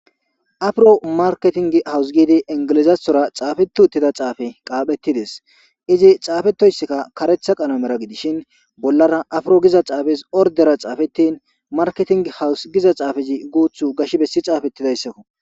Afiro marketing hawus gidi ingilizathora xaafetu uttida xaafe qaaphettides izi xaafetoyssikka karetha qanomera gidishin bollara afro giza xaafes ordera xaafettin marketing hawus giza xaafayi guuthu gash bessi caafettidayssakko.